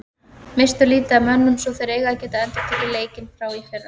Misstu lítið af mönnum svo þeir eiga að geta endurtekið leikinn frá í fyrra.